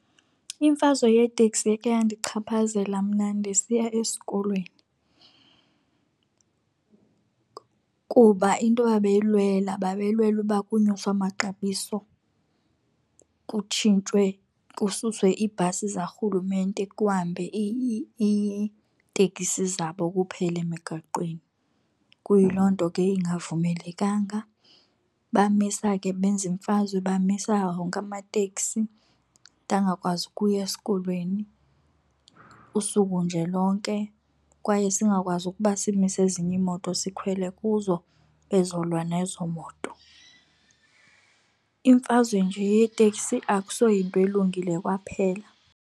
Imfazwe yeeteksi yakhe yandichaphazela mna ndisiya esikolweni kuba into babeyilwela babelwela uba kunyuswe amaxabiso, kutshintshwe, kususwe iibhasi zikarhulumente kuhambe iitekisi zabo kuphela emigaqweni. Kuyiloo nto ke ingavumelekanga. Bamisa ke benza imfazwe, bamisa wonke amateksi, ndangakwazi ukuya esikolweni usuku nje lonke, kwaye singakwazi ukuba simise ezinye iimoto sikhwele kuzo, bezolwa nezo moto. Imfazwe nje yeteksi akusoyinto elungile kwaphela.